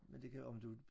Men det kan om du